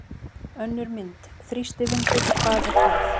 Önnur mynd: Þrýstivindur- hvað er það?